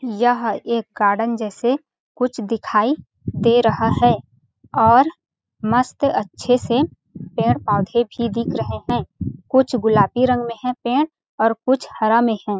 यह एक गार्डन जैसे कुछ दिखाई दे रहा है और मस्त अच्छे से पेड़- पौधे भी दिख रहे है कुछ गुलाबी रंग में है पेड़ और कुछ हरा में हैं ।